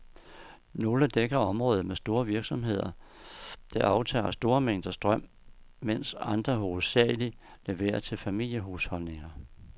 Nogle dækker områder med store virksomheder, der aftager store mængder strøm, mens andre hovedsageligt leverer til familiehusholdninger.